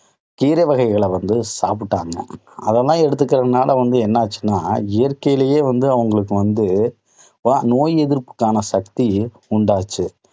கீரை வகைகள வந்து சாப்பிட்டாங்க. அதெல்லாம் எடுத்துக்கிறதுனால வந்து என்ன ஆச்சுன்னா இயற்கையிலேயே வந்து அவங்களுக்கு வந்து நோய் எதிர்ப்புக்கான சக்தி உண்டாச்சு.